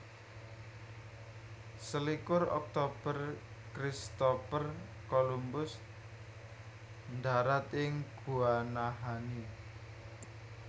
Selikur Oktober Christopher Columbus ndharat ing Guanahani